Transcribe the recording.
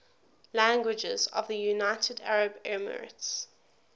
languages of the united arab emirates